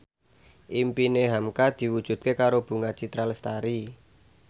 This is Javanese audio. impine hamka diwujudke karo Bunga Citra Lestari